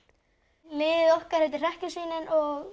liðið okkar heitir hrekkjusvínin og